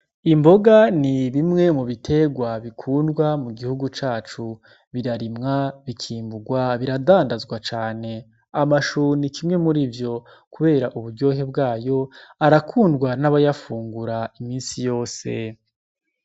Imboga ni bimwe mubitegwa bikundwa mugihugu cacu birarimwa bikimbugwa biradandazwa cane. Amashu ni kimwe murivyo kubera uburyohe bwayo arakundwa n' abayafungura imisi yose.